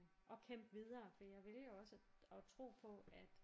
Og kæmpe videre for jeg vælger også at at tro på at